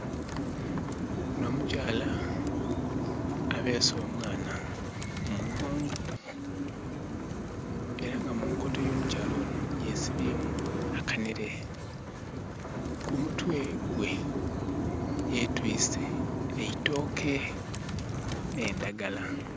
Onho omukyala abeese omwana ku mugongo. Era nga mu nkoto y'omukyokyala onho yesibyeemu akanhere. Ku mutwe gwe yetwiise e itooke n'endagala.